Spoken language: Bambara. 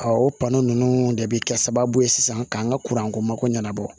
o ninnu de bɛ kɛ sababu ye sisan k'an ka ko mako ɲɛna bɔ